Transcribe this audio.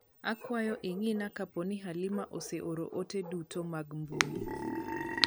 Akwayo ing'ina kaponi Halima ose oro ote dutomag mbui